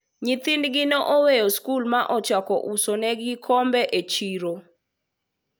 nyithindgi ne oweyo sikul ma ochako uso negi kombe e chiro